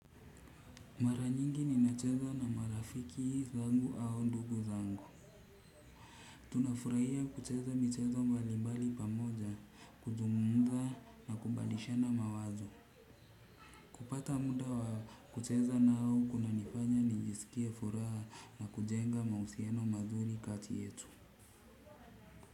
Mara nyingi ninacheza na marafiki zangu au ndugu zangu. Tunafurahia kucheza michezo mbalimbali pamoja, kuzungumza na kubalishana mawazo. Kupata muda wa kucheza nao kunanifanya nijisikie furaha na kujenga mahusiano mazuri kati yetu.